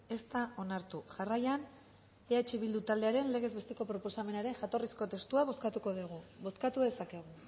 ez da onartu jarraian eh bildu taldearen legez besteko proposamenaren jatorrizko testua bozkatuko dugu bozkatu dezakegu